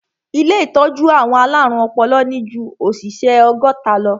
Ilé ìtọ́jú àwọn alárùn ọpọlọ ní ju òṣìṣẹ́ ọgọ́ta lọ.